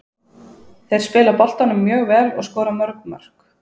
Þeir spila boltanum mjög vel og skora mörg mörk.